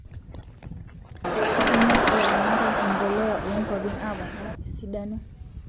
kitumia ilaramatak emboleya oo nkuapin apoona esidano